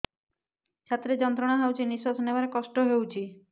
ଛାତି ରେ ଯନ୍ତ୍ରଣା ହଉଛି ନିଶ୍ୱାସ ନେବାରେ କଷ୍ଟ ହଉଛି